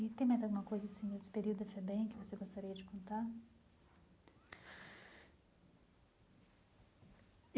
E tem mais alguma coisa assim, nesse período da FEBEM, que você gostaria de contar?